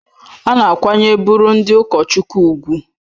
A na-akwanyere bụrụ ndị ụkọchukwu ùgwù